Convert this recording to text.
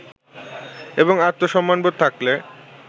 এবং আত্মসম্মানবোধ থাকলে